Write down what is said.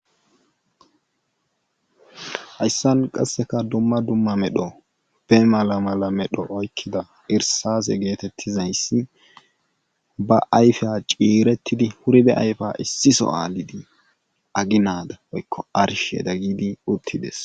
Hayssan qassekka dumma dumma medho be mala mala medho oykiza irssase geetetizaasi ba ayfa ciiretidi wurida ayfa issi sohan aginaadan woykko arshiyadan gidi uttidees.